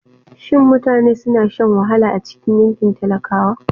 Shin mutane suna shan wahala a cikin yankin talakawa?